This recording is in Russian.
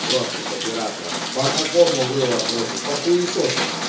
просто с оператором по какому вы вопросу по хуисосу